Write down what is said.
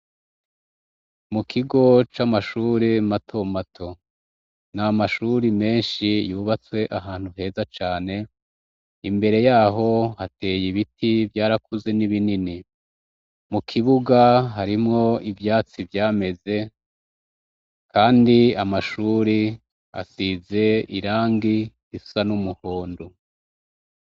Mu kigo c'amashuri mato mato, n'amashuri menshi yubatswe ahantu heza cane, imbere yaho hateye ibiti byarakuze n'ibinini. Mu kibuga harimwo ivyatsi vyameze, kandi Amashuri asize irangi risa n'umuhondo.